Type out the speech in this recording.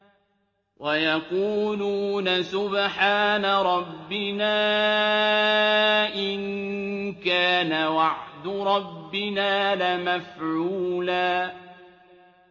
وَيَقُولُونَ سُبْحَانَ رَبِّنَا إِن كَانَ وَعْدُ رَبِّنَا لَمَفْعُولًا